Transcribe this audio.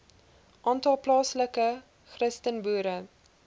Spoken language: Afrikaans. aantal plaaslike christenboere